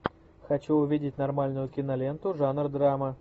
хочу увидеть нормальную киноленту жанр драма